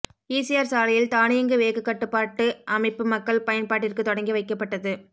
ECR சாலையில் தானியங்கி வேகக்கட்டுப்பாட்டு அமைப்பு மக்கள் பயன்பாட்டிற்கு தொடங்கி வைக்கப்பட்டது